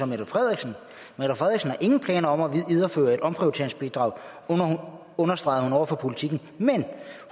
mette frederiksen har ingen planer om videreføre et omprioriteringsbidrag understregede hun over for politiken men